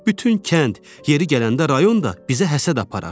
Bütün kənd, yeri gələndə rayon da bizə həsəd aparar.